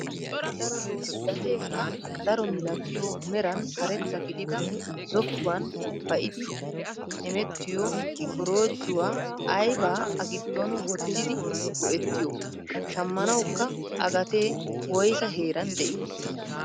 Gateekka daro milatiyoo meran karetta gidida zokkuwaan ba'idi hemettiyoo korojjuwaa aybaa a giddon wottidi go"ettiyoo? shammanawukka a gatee woysaa heeran de'ii?